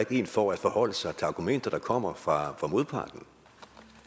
ikke en for at forholde sig til argumenter der kommer fra modparten